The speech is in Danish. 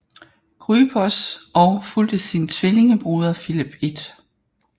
Grypos og fulgte sin tvillingebroder Filip 1